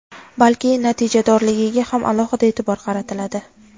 balki natijadorligiga ham alohida e’tibor qaratiladi.